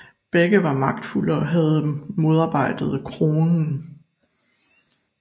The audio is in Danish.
Begge var magtfulde og havde modarbejdet kronen